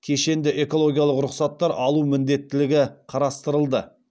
кешенді экологиялық рұқсаттар алу міндеттілігі қарастырылды